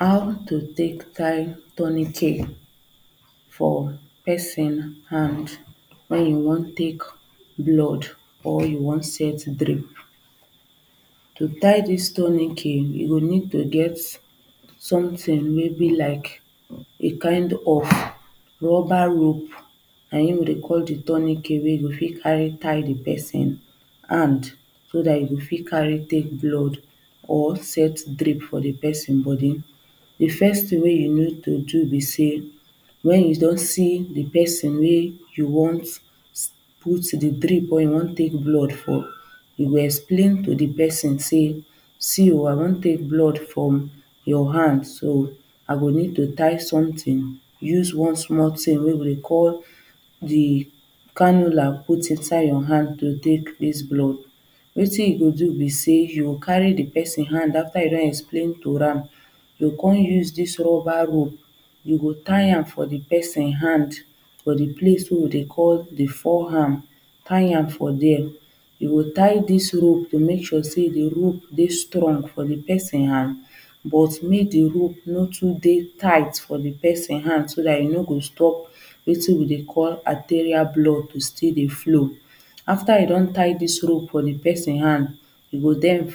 How to take tie tourniquet For person hand when you wan take blood or you wan set drip. To tie this tourniquet you go need to get something maybe like a kind of rubber rope na him we dey call the tourniquet Wey you go fit carry tie the person hand so that you go fit carry take blood or set drip for the person body. The first thing wey you need to do be sey when you don see the person wey you want put the drip or wey you want take blood for you go explain to the person sey see o I wan take blood from your hand so i go need to tie something use one small thing wey we dey call the cannula put inside your hand to take this blood. Wetin you go do be say you go carry the pesin hand after you don explain to am you go come use this rubber rope you go tie am for the person hand for the place wey we dey call the fore arm tie am for there you go tie this rope to make sure say the rope dey strong for the person hand but make the rope no too dey tight for the person hand so that e no go stop wetin we dey call arterial blood wey dey flow after you don tie this rope for the person hand e go then